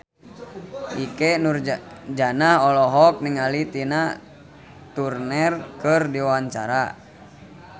Ikke Nurjanah olohok ningali Tina Turner keur diwawancara